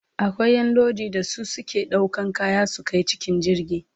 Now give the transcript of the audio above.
Akwai Ƴan Lodi da su suke ɗaukan kaya su Kai cikin jirgi